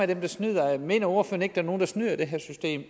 der snyder mener ordføreren ikke er nogen der snyder i det her system